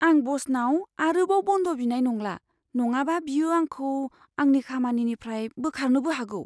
आं ब'सनाव आरोबाव बन्द बिनाय नंला। नङाबा बियो आंखौ आंनि खामानिनिफ्राय बोखारनोबो हागौ।